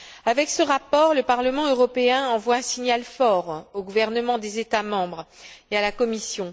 Avec ce rapport, le Parlement européen envoie un signal fort aux gouvernements des États membres et à la Commission.